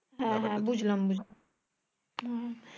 হ্যাঁ হ্যাঁ বুঝলাম বুঝলাম হু হু